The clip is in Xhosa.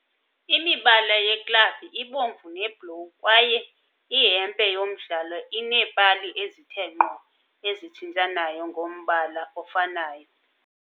Imibala yeklabhu ibomvu nebhlowu kwaye ihempe yomdlalo ineepali ezithe nqo ezitshintshanayo ngombala ofanayo.